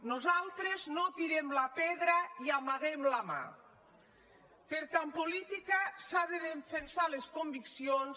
nosaltres no tirem la pedra i amaguem la mà perquè en política s’han de defensar les conviccions